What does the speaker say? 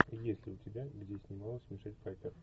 есть ли у тебя где снималась мишель пфайффер